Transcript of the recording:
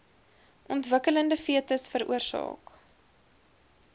ontwikkelende fetus veroorsaak